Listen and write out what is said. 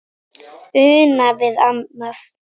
Una við annað.